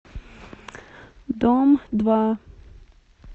дом два